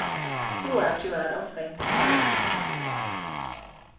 Så är tyvärr ofta inte fallet.